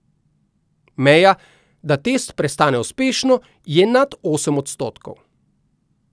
Meja, da test prestane uspešno, je nad osem odstotkov.